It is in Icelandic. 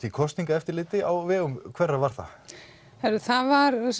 í kosningaeftirliti á vegum hverra var það það var